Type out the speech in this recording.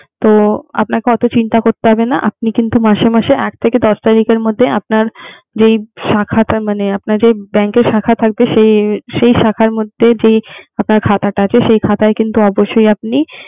তো আপনাকে অত চিন্তা করতে হবে না। আপনি কিন্তু মাসে মাসে আট থেকে দশ তারিখের মধ্যে আপনার যেই শাখা টা মানে, আপনার যে bank এর শাখা থাকবে সেই শাখার মধ্যে যে আপনার খাতাটা আছে সেই অবশ্যই আপনি